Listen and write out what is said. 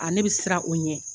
A ne bɛ siran o ɲɛ